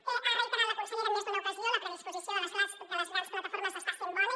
ho ha reiterat la consellera en més d’una ocasió la predisposició de les grans plataformes està sent bona